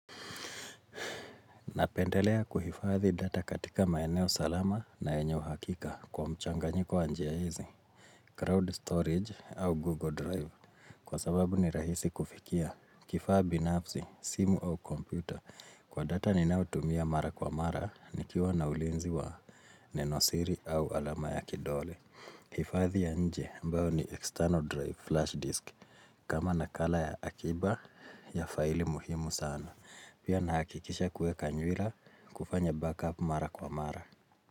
Napendelea kuhifadhi data katika maeneo salama na enye hakika kwa mchangiko wa njia hizo, crowd storage au Google Drive. Kwa sababu ni rahisi kufikia, kifaa binafsi, simu au kompyuta. Kwa data ninao tumia mara kwa mara, nikiwa na ulinzi wa nenosiri au alama ya kidole. Hifadhi ya nje ambao ni external drive flash disk. Kama nakala ya akiba ya faili muhimu sana. Pia nahakikisha kuweka nywira kufanya back up mara kwa mara.